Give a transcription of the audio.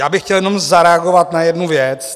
Já bych chtěl jenom zareagovat na jednu věc.